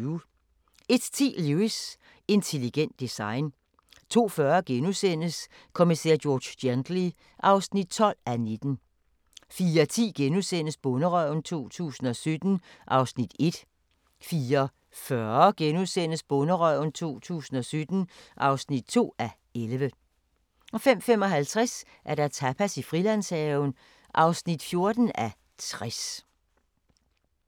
01:10: Lewis: Intelligent design 02:40: Kommissær George Gently (12:19)* 04:10: Bonderøven 2017 (1:11)* 04:40: Bonderøven 2017 (2:11)* 05:55: Tapas i Frilandshaven (14:60)